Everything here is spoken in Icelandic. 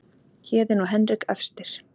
Héðinn og Henrik efstir